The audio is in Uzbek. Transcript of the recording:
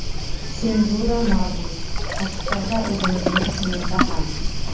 Senzura mavjud, tashqi va o‘zimizning ichimizda ham.